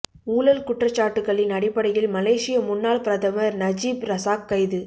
ஊழல் குற்றச்சாட்டுகளின் அடிப்படையில் மலேசிய முன்னாள் பிரதமர் நஜீப் ரசாக் கைது